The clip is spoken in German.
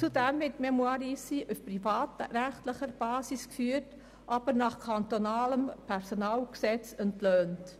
Zudem wird die «Fondation Mémoires d’Ici» auf privatrechtlicher Basis geführt, aber nach kantonalem Personalgesetz entlohnt.